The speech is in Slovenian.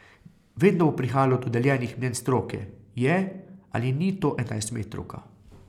Vedno bo prihajalo do deljenih mnenj stroke, je ali ni to enajstmetrovka.